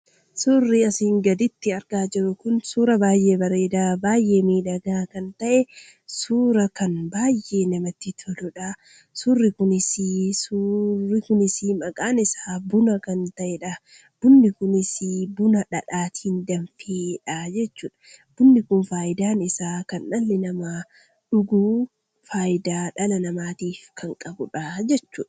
Suurri asiin gaditti argaa jirru kun suuraa baay'ee bareedaa baay'ee miidhagaa kan ta'e suura baay'ee kan namatti toludha. Suurri kunis maqaan isaa buna kan ta'edha. Bunni kunis buna dhadhaatiin danfe jechuudha. Bunni kun fayidaan isaa kan dhalli namaa dhuguu fayidaa kan dhala namaatiif qabudha jechuudha.